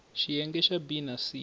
xiyenge xa b na c